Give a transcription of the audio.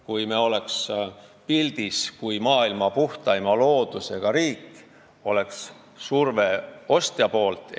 Kui me oleks pildis kui maailma puhtaima loodusega riik, oleks ka surve ostjalt.